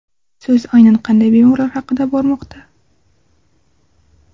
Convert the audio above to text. So‘z aynan qanday bemorlar haqida bormoqda?